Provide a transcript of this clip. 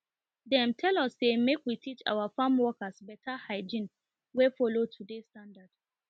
dem tell us say make we teach our farm workers better hygiene wey follow today standard